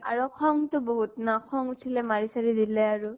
আৰু খং তো বহুত ন ? খং উঠিলে মাৰি চাৰি দিলে আৰু